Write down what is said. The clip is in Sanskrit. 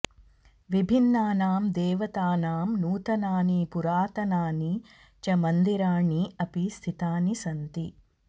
विभिन्नानां देवतानां नूतनानि पुरातनानि च मन्दिराणि अपि स्थितानि सन्ति